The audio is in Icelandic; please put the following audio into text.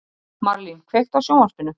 Marlín, kveiktu á sjónvarpinu.